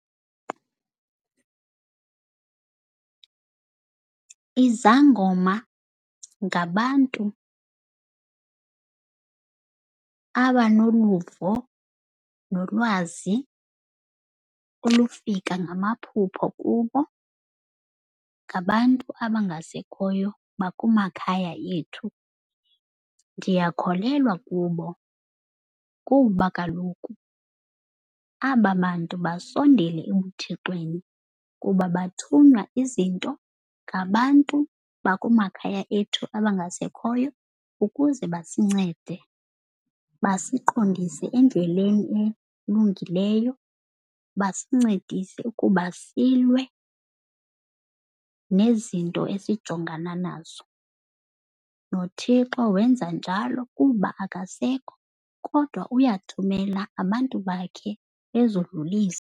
Izangoma ngabantu abanoluvo nolwazi olufika ngamaphupho kubo ngabantu abangasekhoyo bakumakhaya ethu. Ndiyakholelwa kubo, kuba kaloku aba bantu basondele ebuThixweni kuba bathunywa izinto ngabantu bakumakhaya ethu abangasekhoyo ukuze basincede. Basiqondise endleleni elungileyo, basincedise ukuba kusilwe nezinto esijongana nazo. NoThixo wenza njalo kuba akasekho kodwa uyathumela abantu bakhe bezodlulisa.